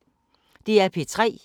DR P3